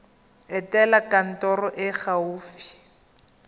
etela kantoro e e gaufi